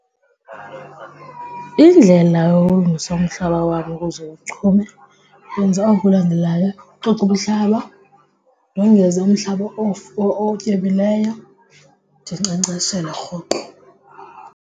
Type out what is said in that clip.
Indlela yokulungisa umhlaba wam ukuze uchume wenza oku kulandelayo, ucoca umhlaba, ndongeze umhlaba otyebileyo, ndinkcenkceshele rhoqo.